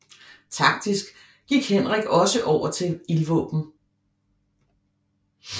Taktisk gik Henrik også over til ildvåben